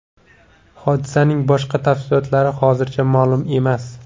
Hodisaning boshqa tafsilotlari hozircha ma’lum emas.